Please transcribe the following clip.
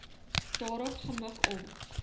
daarop gemik om